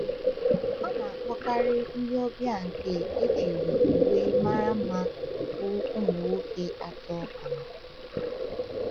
A na-akpọkarị ndị ọbịa nke ejiri uwe mara mma bụ ụmụ nwoke atọ amamihe.